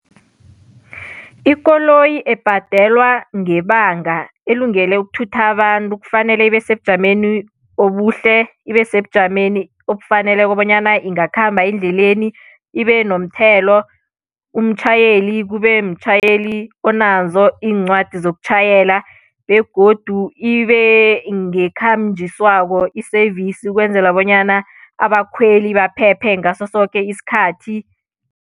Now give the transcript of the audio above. Ikoloyi ebhadelwa ngebanga elungele ukuthutha abantu kufanele ibe sebujameni obuhle, ibe sebujameni obufaneleko bonyana ingakhamba endleleni, ibe nomthelo, umtjhayeli kube mtjhayeli onazo iincwadi zokutjhayela begodu ibe ngekhanjiswako i-service ukwenzela bonyana abakhweli baphephe ngaso soke isikhathi.